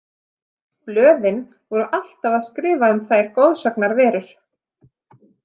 Blöðin voru alltaf að skrifa um þær goðsagnaverur.